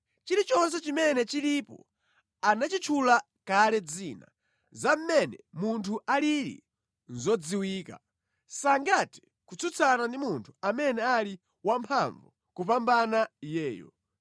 Chilichonse chimene chilipo anachitchula kale dzina, za mmene munthu alili nʼzodziwika; sangathe kutsutsana ndi munthu amene ali wamphamvu kupambana iyeyo.